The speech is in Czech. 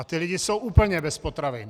A ti lidé jsou úplně bez potravin!